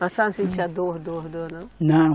A senhora não sentia dor, dor, dor, não? Não